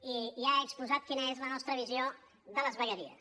i ja he exposat quina és la nostra visió de les vegueries